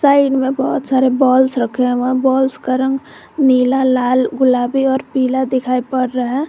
Side में बहोत सारे बॉल्स रखे हुए हैं बॉल्स का रंग नीला लाल गुलाबी और पीला दिखाई पड़ रहा है।